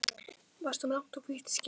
Varst þú með langt og hvítt skegg, pabbi?